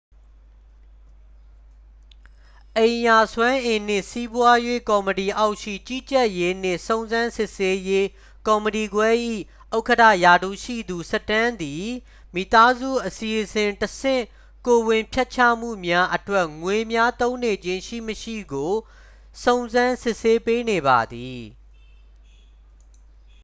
အိမ်ရာစွမ်းအင်နှင့် စီးပွားရေး ကော်မတီအောက်ရှိ ကြီးကြပ်ရေးနှင့် စုံစမ်းစစ်ဆေးရေး ကော်မတီခွဲ၏ ဥက္ကဌ ရာထူးရှိသူ စတန်းသည် မိသားစုအစီအစဉ်တဆင့် ကိုယ်ဝန်ဖျက်ချမှုများအတွက် ငွေများ သုံးနေခြင်း ရှိမရှိကို စုံစမ်းစစ်ဆေးပေးနေပါသည်